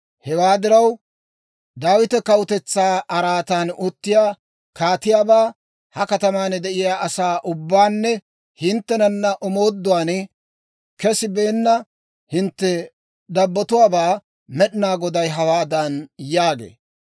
Hewaa diraw, Daawita kawutetsaa araatan uttiyaa kaatiyaabaa, ha kataman de'iyaa asaa ubbabaanne hinttenana omooduwaan kesibeenna hintte dabbotuwaabaa Med'inaa Goday hawaadan yaagee.